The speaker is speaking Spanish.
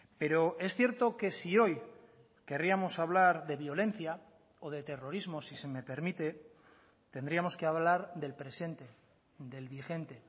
pero es cierto que si hoy querríamos hablar de violencia o de terrorismo si se me permite tendríamos que hablar del presente del vigente